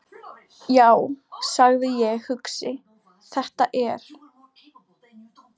Já, sagði ég hugsi: Þetta er.